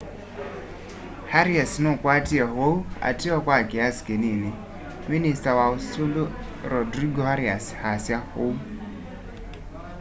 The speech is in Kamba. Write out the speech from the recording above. arias nukwatie uwau ateo kwa kiasi kinini minista wa usumbi rodrigo arias asya ûu